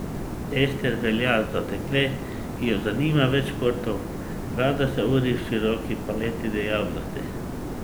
Ester velja za dekle, ki jo zanima več športov, rada se uri v široki paleti dejavnosti.